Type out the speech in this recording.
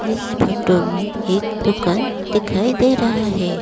इस फोटो में एक दुकान दिखाई दे रहा है।